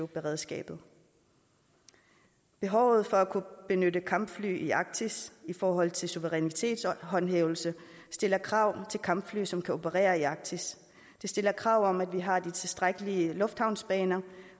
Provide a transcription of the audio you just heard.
beredskabet behovet for at kunne benytte kampfly i arktis i forhold til suverænitetshåndhævelse stiller krav til kampfly som kan operere i arktis det stiller krav om at vi har de tilstrækkelige lufthavnsbaner